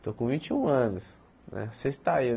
Estou com vinte e um anos né sexta ê.